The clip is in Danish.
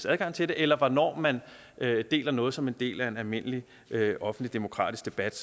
adgang til det eller hvornår man deler noget som en del af en almindelig offentlig demokratisk debat